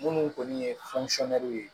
Minnu kɔni ye ye